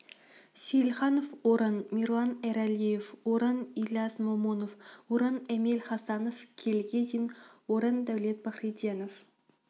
сейілханов орын мирлан эралиев орын ильяс момунов орын эмиль хасанов келіге дейін орын даулет пахриденов